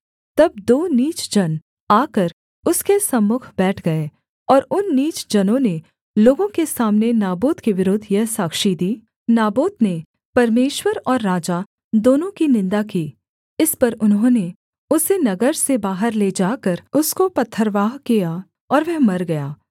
तब दो नीच जन आकर उसके सम्मुख बैठ गए और उन नीच जनों ने लोगों के सामने नाबोत के विरुद्ध यह साक्षी दी नाबोत ने परमेश्वर और राजा दोनों की निन्दा की इस पर उन्होंने उसे नगर से बाहर ले जाकर उसको पथरवाह किया और वह मर गया